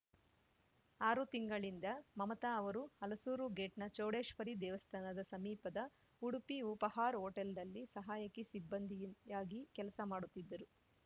ಆರು ತಿಂಗಳಿಂದ ಮಮತಾ ಅವರು ಹಲಸೂರುಗೇಟ್‌ನ ಚೌಡೇಶ್ವರಿ ದೇವಸ್ಥಾನದ ಸಮೀಪದ ಉಡುಪಿ ಉಪಹಾರ್ ಹೋಟೆಲ್‌ನಲ್ಲಿ ಸಹಾಯಕಿ ಸಿಬ್ಬಂದಿಯಾಗಿ ಕೆಲಸ ಮಾಡುತ್ತಿದ್ದರು